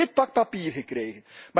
Ik heb dit pak papier gekregen.